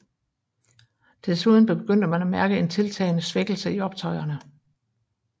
Desuden begyndte man at mærke en tiltagende svækkelse i optøjerne